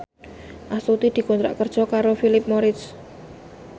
Astuti dikontrak kerja karo Philip Morris